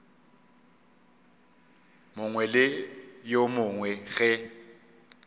mongwe le yo mongwe ge